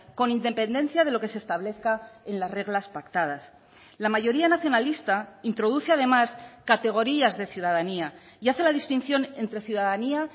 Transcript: con independencia de lo que se establezca en las reglas pactadas la mayoría nacionalista introduce además categorías de ciudadanía y hace la distinción entre ciudadanía